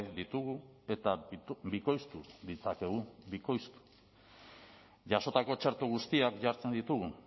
ditugu eta bikoiztu ditzakegu bikoiztu jasotako txerto guztiak jartzen ditugu